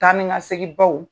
Taa ni ka segn baw